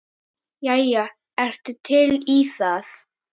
Jæja, ertu til í það?